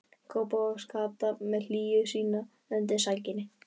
Kópavogs-Kata með hlýju sína undir sænginni.